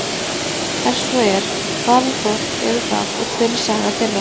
Er svo er, hvaða þorp eru það og hver er saga þeirra?